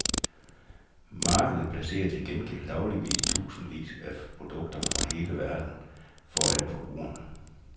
Markedet placerer til gengæld dagligt tusindvis af produkter fra hele verden foran forbrugerne.